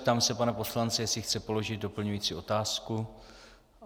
Ptám se pana poslance, jestli chce položit doplňující otázku.